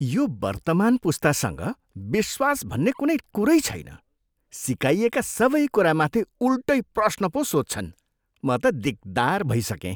यो वर्तमान पुस्तासँग विश्वास भन्ने कुनै कुरै छैन। सिकाइएका सबै कुरामाथि उल्टै प्रश्न पो सोध्छन्। म त दिकदार भइसकेँ।